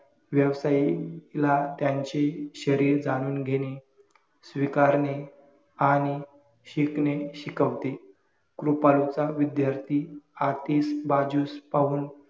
व्यावसायिकला त्यांचे शरीर जाणून घेणे, स्वीकारणे, आणि शिकणे, शिकवते. कृपाळूच विद्यार्थी आतीस बाजूस पाहून